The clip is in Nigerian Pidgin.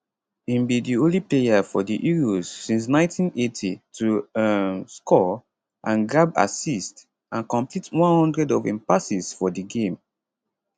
im be di only player for di euros since 1980 to um score and grab assist and complete one hundred of im passes for di game